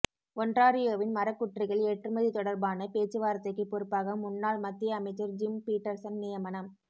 ஒன்ராரியோவின் மரக்குற்றிகள் ஏற்றுமதி தொடர்பான பேச்சுவார்த்தைக்குப் பொறுப்பாக முன்னாள் மத்திய அமைச்சர் ஜிம் பீட்டர்சன் நியமனம்